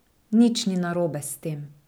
Nič ni narobe s tem.